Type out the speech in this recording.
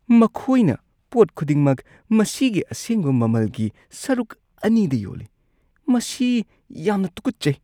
ꯃꯈꯣꯏꯅ ꯄꯣꯠ ꯈꯨꯗꯤꯡꯃꯛ ꯃꯁꯤꯒꯤ ꯑꯁꯦꯡꯕ ꯃꯃꯜꯒꯤ ꯁꯔꯨꯛ ꯑꯅꯤꯗ ꯌꯣꯜꯂꯤ꯫ ꯃꯁꯤ ꯌꯥꯝꯅ ꯇꯨꯀꯠꯆꯩ꯫